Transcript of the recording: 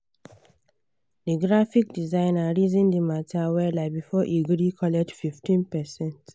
the graphic designer reason the matter weller before e gree collect 15%